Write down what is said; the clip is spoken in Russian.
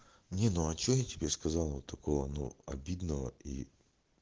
не ну а что я тебе сказал вот такого обидного и